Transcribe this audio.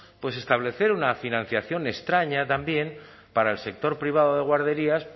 establecer una financiación extraña también para el sector privado de guarderías